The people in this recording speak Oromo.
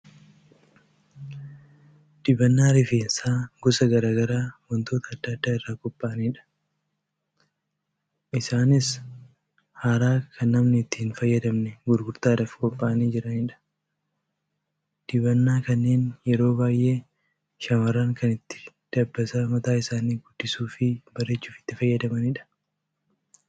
Dibannaa rifeensaa gosa garaagaraa wantoota adda addaa irraa qophaa'aniidha. Isaanis haaraa kan namni itti hin fayyadamne gurgurtaadhaf qophaa'anii jiranidha. Dibannaa kanneen yeroo baay'ee shamarran kan ittiin dabbasaa mataa isaanii guddisuufi bareechuuf itti fayyadamanidha.